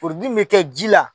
min bɛ kɛ ji la.